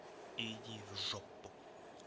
иди в жопу